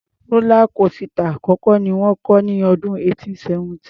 Rọ́lá kósità àkọ́kọ́ ni wọ́n kọ́ ní ọdún 1817.